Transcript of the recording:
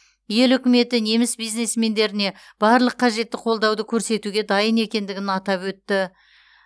ел үкіметі неміс бизнесмендеріне барлық қажетті қолдауды көрсетуге дайын екендігін атап өтті